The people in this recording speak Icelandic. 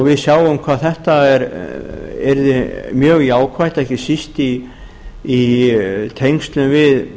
við sjáum hvað þetta yrði mjög jákvætt ekki síst í tengslum við